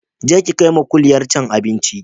Je ki kaima kuliyar can abinci